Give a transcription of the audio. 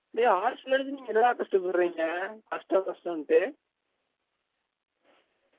டெய் arts ல நீங்க என்ன டா கஷ்டம் பட்ரீங்க கஷ்டம் கஷ்டம்ன்டு